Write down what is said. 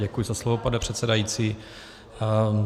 Děkuji za slovo, pane předsedající.